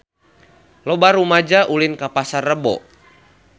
Loba rumaja ulin ka Pasar Rebo